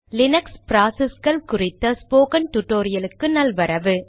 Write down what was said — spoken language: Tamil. லீனக்ஸ் ப்ராசஸ்கள் குறித்த ஸ்போகன் டுடோரியலுக்கு நல்வரவு